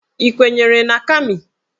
Ị kwenyere na Kami?